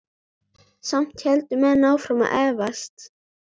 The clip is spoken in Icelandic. Samt héldu menn áfram að efast.